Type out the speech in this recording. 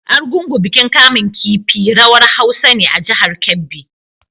Argungu bikin kamun kifi/rawar Hausa ne a jihar Kebbi.